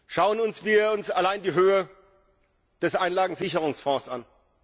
Schauen wir uns allein die Höhe des Einlagensicherungsfonds an.